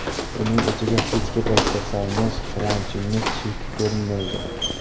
Uning ichiga kechgi payt kirsangiz quvonchingiz cheki ko‘rinmaydi.